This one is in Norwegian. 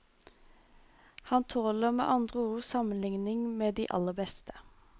Han tåler med andre ord sammenligning med de aller beste.